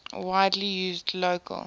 widely used local